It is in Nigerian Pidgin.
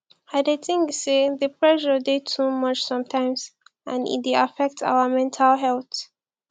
i dey think say di pressure dey too much sometimes and e dey affect our mental health